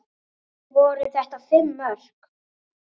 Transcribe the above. Voru þetta fimm mörk?